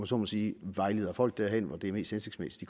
så må sige vejleder folk derhen hvor det er mest hensigtsmæssigt